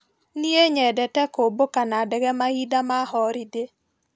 Nie nyendete kũmbũka na ndege mahinda ma horindĩ.